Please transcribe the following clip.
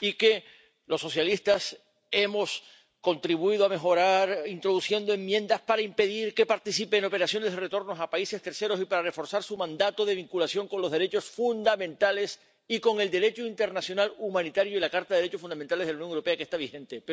y que los socialistas hemos contribuido a mejorar introduciendo enmiendas para impedir que participe en operaciones de retorno a terceros países y para reforzar su mandato de vinculación con los derechos fundamentales y con el Derecho internacional humanitario y la Carta de los Derechos Fundamentales de la Unión Europea que está vigente.